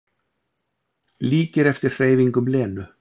Líkir eftir hreyfingum Lenu.